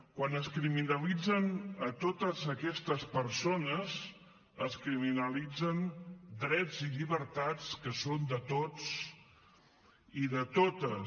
quan es criminalitzen a totes aquestes persones es criminalitzen drets i llibertats que són de tots i de totes